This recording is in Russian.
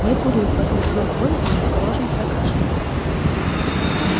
не курю подтвердил коля и осторожно прокашлялся